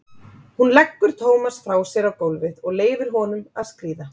Hún leggur Tómas frá sér á gólfið og leyfir honum að skríða.